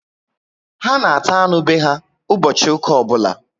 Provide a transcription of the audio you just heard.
Ha na ata anụ be ha ụbọchị ụka obula